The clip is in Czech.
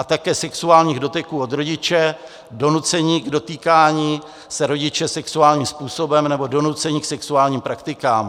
A také sexuálních doteků od rodiče, donucení k dotýkání se rodiče sexuálním způsobem nebo donucení k sexuálním praktikám.